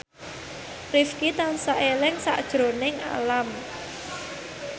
Rifqi tansah eling sakjroning Alam